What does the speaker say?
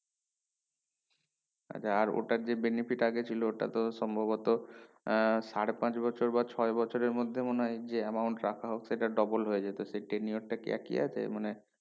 আর ওটার যে benefit আগে ছিল ওটা তো সম্ভবত আহ সাড়ে পাঁচ বছর বা ছয় বছরের মধ্যে মনে হয় যে amount রাখা হোক সেটার double হয়ে যাইতেছে ten year টা কি একি আছে মানে